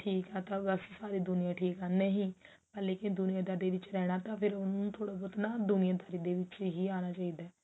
ਠੀਕ ਆ ਤਾਂ ਬਸ ਸਾਰੀ ਦੁਨੀਆ ਠੀਕ ਆ ਪਰ ਦੁਨੀਆ ਦਾਰੀ ਦੇ ਵਿੱਚ ਰਹਿਣਾ ਤਾਂ ਫ਼ੇਰ ਉਹਨੂੰ ਥੋੜਾ ਨਾ ਦੁਨੀਆਦਾਰੀ ਦੇ ਵਿੱਚ ਅਨਾ ਚਾਹੀਦਾ ਹੈ